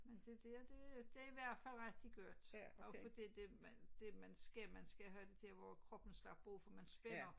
Men det det det i hvert fald rigtig godt også fordi det man det man skal man skal have der hvor kroppen har brug for man spænder